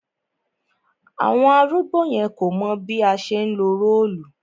Àwọn arúgbó yẹn kò mọ̀ bí a ṣe ńlo róòlù